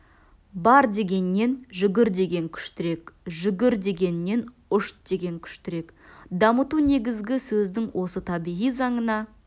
бар дегеннен жүгір деген күштірек жүгір дегеннен ұш деген күштірек дамыту негізгі сөздің осы табиғи заңына